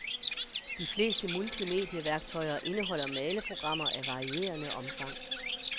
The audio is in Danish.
De fleste multimedieværktøjer indeholder maleprogrammer af varierende omfang.